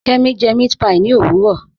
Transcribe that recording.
Kẹmi jẹ mẹ̀àtpí ní owurọ